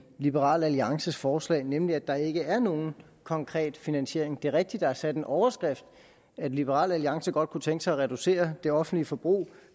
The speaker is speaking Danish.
liberal alliances forslag nemlig at der ikke er nogen konkret finansiering det er rigtigt er sat den overskrift at liberal alliance godt kunne tænke sig at reducere det offentlige forbrug